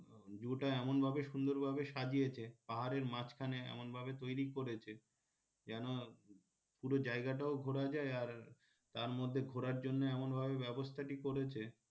zoo টা এমন ভাবে সুন্দর ভাবে সাজিয়েছে পাহাড়ের মাঝখানে এমন ভাবে তৈরি করেছে যেন পুরো জায়গাটাও ঘোড়া যায় আর তার মধ্যে ঘোরার জন্যে এমন ভাবে ব্যবস্থাটি করেছে